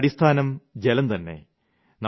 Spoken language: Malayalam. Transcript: ജീവന്റെ അടിസ്ഥാനം ജലം തന്നെ